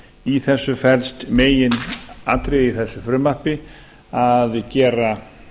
í þessu felst meginatriðið í þessu frumvarpi að gera